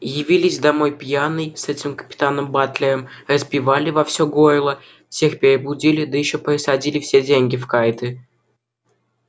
явились домой пьяный с этим капитаном батлером распевали во все горло всех перебудили да ещё просадили все деньги в карты